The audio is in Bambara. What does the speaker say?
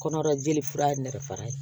Kɔnɔbara jeli fura ye nɛgɛ faga ye